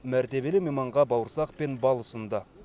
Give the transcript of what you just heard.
мәртебелі мейманға бауырсақ пен бал ұсынды